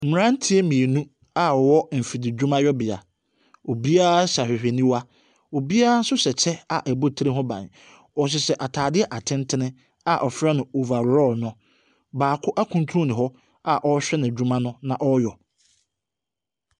Mmranteɛ mmienu a ɔwɔ nfidi dwumayɔ bia, obiaa hyɛ awhewheniwa, obia nso hyɛ kyɛ a ɛbɔ tire ho ban. Ɔhyehyɛ ataadeɛ atentene a ɔfrɛ no overall no. baako ɛkunturu hɔ a ɔrehwɛ ne dwuma no na ɔreyɔ.